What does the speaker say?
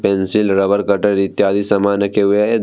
Pencil rubber cutter इत्यादि समान रखे हुए हैं।